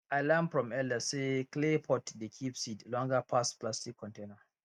i learn from elders say clay pot dey keep seed longer pass plastic container